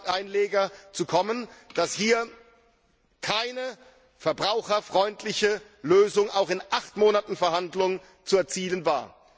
Einleger zu kommen, dass hier keine verbraucherfreundliche Lösung auch nicht in acht Monaten Verhandlungen zu erzielen war.